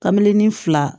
Kabilen ni fila